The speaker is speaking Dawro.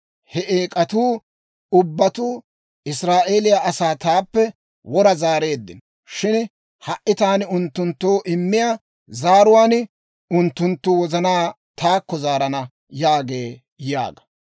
He eek'atuu ubbatuu Israa'eeliyaa asaa taappe wora zaareeddino; shin ha"i taani unttunttoo immiyaa zaaruwaan unttunttu wozanaa taakko zaarana» yaagee› yaaga.